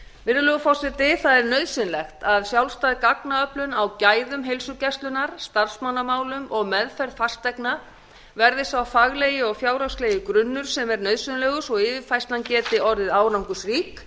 virðulegur forseti það er nauðsynlegt að sjálfstæð gagnaöflun á gæðum heilsugæslunnar starfsmannamálum og meðferð fasteigna verði sá faglegi og fjárhagslegi grunnur sem er nauðsynlegur svo að yfirfærslan geti orðið árangursrík